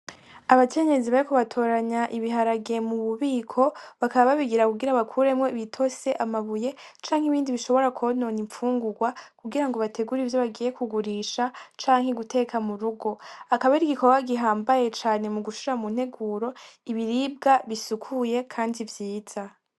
Abakenyezi bariko batoranya ibiharage mu bubiko bakaba babigira kugira bakuremwo ibitose , amabuye canke ibindi bishobora konona infungurwa kugira bategure ivyo bagiye ku gurisha canke guteka mu rugo akaba ari igikorwa gihambaye cane mu gushira mu nteguro ibiribwa bisukuye kandi vyiza.